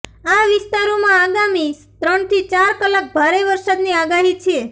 આ વિસ્તારોમાં આગામી ત્રણથી ચાર કલાક ભારે વરસાદની આગાહી છે